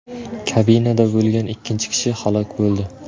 Kabinada bo‘lgan ikkinchi kishi halok bo‘ldi.